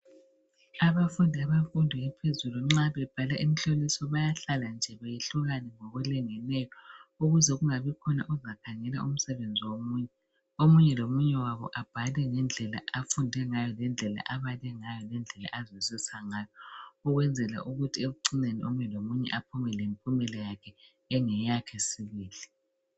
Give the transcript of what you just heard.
Abafunda bemfundo ephezulu, nxa bebhala imihloliso, bayahlala nje behlukane ngokulingeneyo. Ukuze kungabikhona ozakhangela umsebenzi womunye. Omunye lomunye wabo abhale ngendlela afunde ngayo, ngendlela abale ngayo, ngendlela azwisise ngayo. Ukwenzela ukuthi ekucineni, omunye lomunye aphume lempumela yakhe. Engeyakhe sibili.